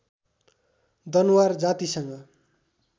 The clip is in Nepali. दनुवार जातिसँग